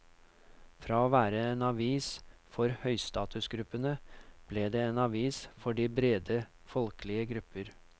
Fra å være en avis for høystatusgruppene ble det en avis for de brede folkelige grupper.